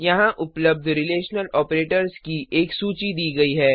यहाँ उपलब्ध relational operators की एक सूची दी गई है